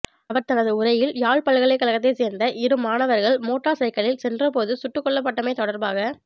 அவர் தனது உரையில் யாழ் பல்கலைக்கழகத்தை சேர்ந்த இரு மாணவர்கள் மோட்டார் சைக்கிளில் சென்றபோது சுட்டுக்கொள்ளப்பட்டமை தொடர்பாக